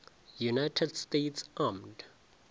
united states armed